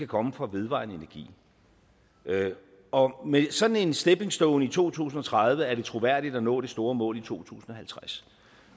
komme fra vedvarende energi og med sådan en stepping stone i to tusind og tredive er det troværdigt at nå det store mål i to tusind og halvtreds